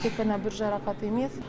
тек қана бір жарақат емес